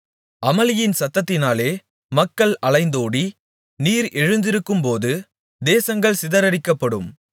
அமளியின் சத்தத்தினாலே மக்கள் அலைந்தோடி நீர் எழுந்திருக்கும்போது தேசங்கள் சிதறடிக்கப்படும்